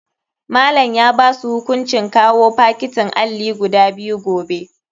Malam ya basu hukuncin kawao fakitin alli guda biyu gobe.